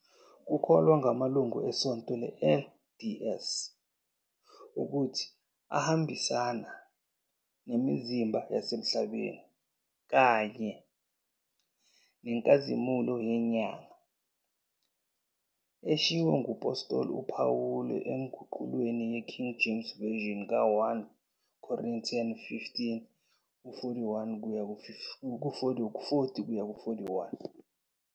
Kukholwa ngamalungu eSonto le-LDS ukuthi ahambisane nemizimba yasemhlabeni kanye nenkazimulo yenyanga eshiwo ngumphostoli uPawulu enguqulweni yeKing James Version ka-1 Corinthians 15, 40 kuya ku-41.